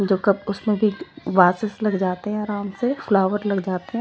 जो कप उसने भी वासेस लग जाते हैं आराम से फ्लावर लग जाते--